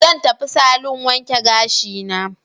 Zan tafi salon wanke gashina.